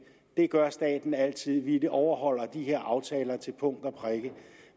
gør staten altid vi overholder de her aftaler til punkt og prikke